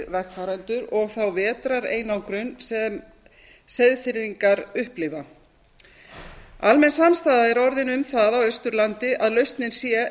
vegfarendur og þá vetrareinangrun sem seyðfirðingar upplifa almenn samstaða er orðin um það á austurlandi að lausnin sé